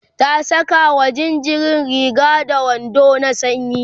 ta Saka wa jinjirin Riga da wando na sanyi